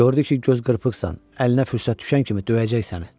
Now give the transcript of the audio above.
Gördü ki, göz qırpıqsızsan, əlinə fürsət düşən kimi döyəcək səni.